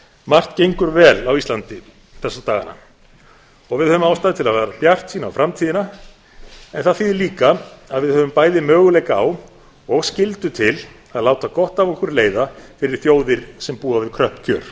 margt gengur vel á íslandi þessa dagana og við höfum ástæðu til að vera bjartsýn á framtíðina en það þýðir líka að við höfum bæði möguleika á og skyldu til að láta gott af okkur leiða fyrir þjóðir sem búa við kröpp kjör